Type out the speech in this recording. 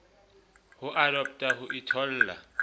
le ho adoptha ho itholla